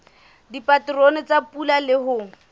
dipaterone tsa pula le ho